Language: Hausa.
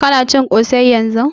Ka na cin ƙosai yanzun?